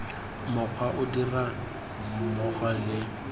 mokgwa o dirang mmogo le